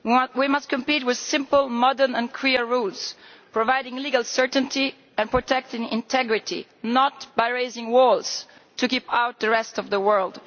We must compete with simple, modern and clear rules, providing legal certainty and protecting integrity, not by raising walls to keep out the rest of the world.